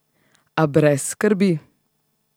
A brez skrbi!